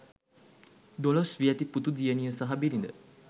දොළොස් වියැති පුතු දියණිය සහ බිරිද